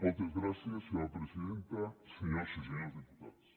moltes gràcies senyora presidenta senyores i senyors diputats